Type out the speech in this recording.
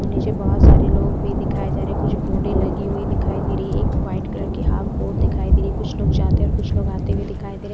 नीचे बहोत सारे लोग भी दिखाई जा रहे। कुछ बोडे लगी हुई दिखाई दे रही है। एक वाइट कलर की हाफ बोर्ड दिखाई दिए। कुछ लोग जाते कुछ लोग आते हुए दिखाई दे--